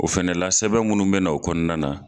O fɛnɛ la sɛbɛn munnu bɛ na o kɔnɔna na.